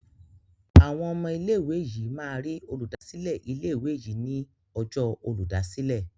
Awọn ọmọ ilé ìwé yí má rí Olùdásílẹ̀ ilé ìwé yí ní Ọjọ́ Olùdásílẹ̀.